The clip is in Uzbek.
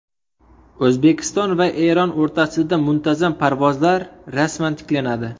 O‘zbekiston va Eron o‘rtasida muntazam parvozlar rasman tiklanadi.